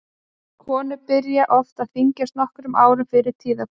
Konur byrja oft að þyngjast nokkrum árum fyrir tíðahvörf.